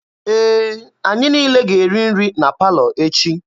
Ee, anyị niile ga-eri nri na palọ echi.